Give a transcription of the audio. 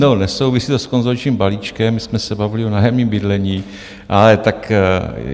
No, nesouvisí to s konsolidačním balíčkem, my jsme se bavili o nájemním bydlení, ale tak...